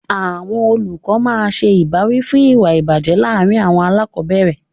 Àwọn olùkọ́ máa ń ṣe ìbáwí fún ìwà ìbàjẹ́ láàárín àwọn aláàkọ́bẹ̀rẹ̀.